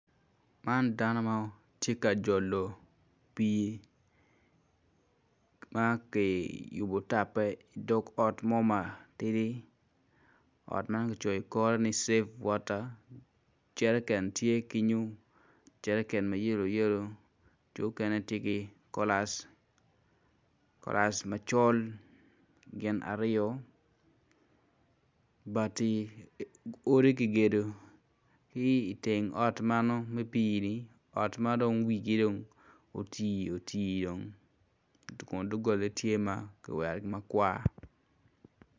Man dano matye ka jolo pi maki yubo tappe i dog ot mo matidi ot man gicoyo i kore ni save water jereken tye kenyo jereken ma yelow yelow jo okene tye ki kolas, kolas macol gin aryo, bati, odi kigedo ki teng ot mano me pi ot madong wigi dong oti oti kun dogola ne tye makiwero makwar.